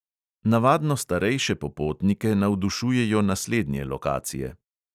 Navadno starejše popotnike navdušujejo naslednje lokacije.